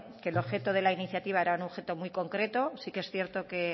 que el objeto de la iniciativa era un objeto muy concreto sí que es cierto que